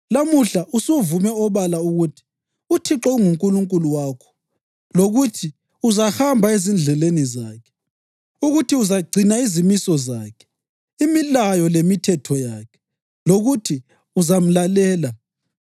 Lamuhla usuvume obala ukuthi uThixo unguNkulunkulu wakho lokuthi uzahamba ezindleleni zakhe, ukuthi uzagcina izimiso zakhe, imilayo, lemithetho yakhe, lokuthi uzamlalela.